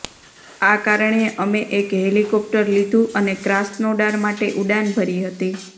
આ કારણે અમે એક હેલિકોપ્ટર લીધું અને ક્રાસ્નોડાર માટે ઉડાન ભરી હતી